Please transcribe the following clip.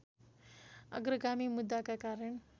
अग्रगामी मुद्दाका कारण